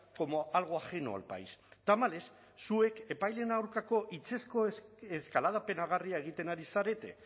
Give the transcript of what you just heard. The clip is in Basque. como algo ajeno al país tamalez zuek epaileen aurkako hitzezko eskalada penagarria egiten ari zarete